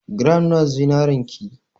Gram nawa zinarin ki?